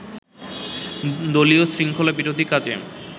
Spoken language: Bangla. দলীয় শৃঙ্খলাবিরোধী কাজে